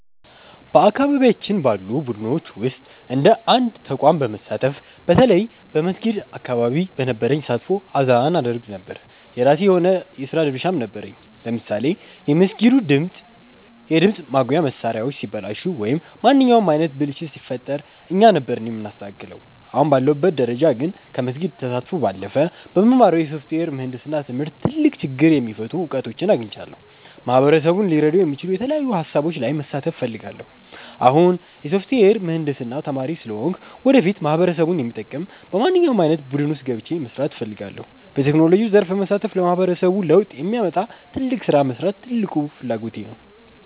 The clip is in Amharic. በአካባቢያችን ባሉ ቡድኖች ውስጥ እንደ አንድ ተቋም በመሳተፍ፣ በተለይ በመስጊድ አካባቢ በነበረኝ ተሳትፎ አዛን አደርግ ነበር። የራሴ የሆነ የሥራ ድርሻም ነበረኝ፤ ለምሳሌ የመስጊዱ የድምፅ ማጉያ መሣሪያዎች ሲበላሹ ወይም ማንኛውም ዓይነት ብልሽት ሲፈጠር እኛ ነበርን የምናስተካክለው። አሁን ባለሁበት ደረጃ ግን፣ ከመስጊድ ተሳትፎ ባለፈ በምማረው የሶፍትዌር ምህንድስና ትምህርት ትልቅ ችግር የሚፈቱ እውቀቶችን አግኝቻለሁ። ማህበረሰቡን ሊረዱ የሚችሉ የተለያዩ ሃሳቦች ላይ መሳተፍ እፈልጋለሁ። አሁን የሶፍትዌር ምህንድስና ተማሪ ስለሆንኩ፣ ወደፊት ማህበረሰቡን የሚጠቅም በማንኛውም ዓይነት ቡድን ውስጥ ገብቼ መሥራት እፈልጋለሁ። በቴክኖሎጂው ዘርፍ በመሳተፍ ለማህበረሰቡ ለውጥ የሚያመጣ ትልቅ ሥራ መሥራት ትልቁ ፍላጎቴ ነው።